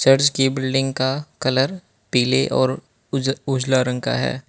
Church की building का colour पीले और उज उजला रंग का है।